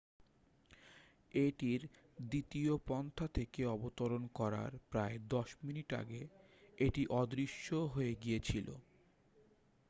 এটির দ্বিতীয় পন্থা থেকে অবতরণ করার প্রায় দশ মিনিট আগে এটি অদৃশ্য হয়ে গিয়েছিল